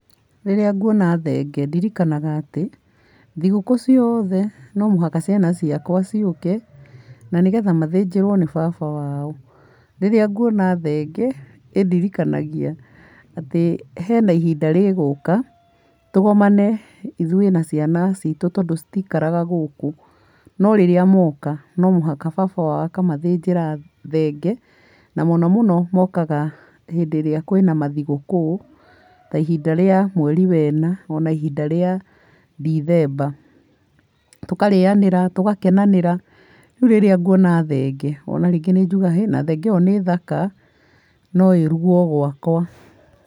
Rĩrĩa nguona thenge, ndirikanaga atĩ thigũkũũ ciothe no mũhaka ciana ciakwa ciũke na nĩgetha mathĩnjĩrwo nĩ baba wao, rĩrĩa nguona thenge ĩndirikanagia atĩ hena ihinda rĩgũka tũgomane ithũĩ na ciana citũ, tondũ citiikaraga gũkũ, no rĩrĩa moka no nginya baba wao akamathĩnjĩra thenge na mũno mũno mokaga hĩndĩ ĩrĩa kwĩna mathigũkũũ, ta ihinda rĩa mweri wena ona ihinda rĩa ndithemba, tũkarĩanĩra tũgakenanĩra, rĩu rĩrĩa nguona thenge ta rĩngĩ nĩ njũgaga thenge ĩyo nĩ thaka no ĩrugwo gwakwa.